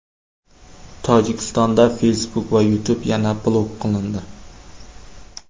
Tojikistonda Facebook va YouTube yana blok qilindi.